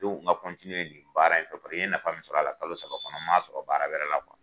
nka ni baara in fɛ paseke n ye nafa min sɔrɔ a la kalo saba kɔnɔ ma sɔrɔ baara wɛrɛ la